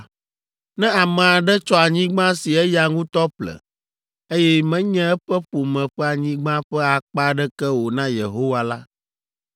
“ ‘Ne ame aɖe tsɔ anyigba si eya ŋutɔ ƒle, eye menye eƒe ƒome ƒe anyigba ƒe akpa aɖeke o na Yehowa la,